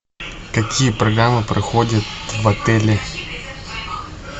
какие программы проходят в отеле